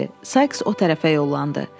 Sakes o tərəfə yollandı.